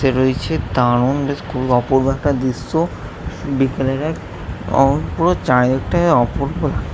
রয়েছে দারুন বেশ খুব অপুরূপ একটা দৃশ্য বিকেলের এক অ পুরো চারিদিকা অপূর্ব --